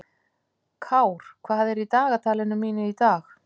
Kár, hvað er á dagatalinu mínu í dag?